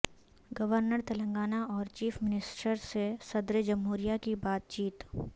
governor Telangana اور chief minister سے صدرجمہوریہ کی بات چیت